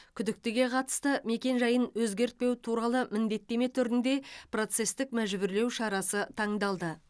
күдіктіге қатысты мекенжайын өтгертпеу туралы міндеттеме түрінде процестік мәжбүрлеу шарасы таңдалды